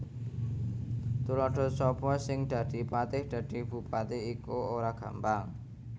Tuladha Sapa sing dadi patih Dadi bupati iku ora gampang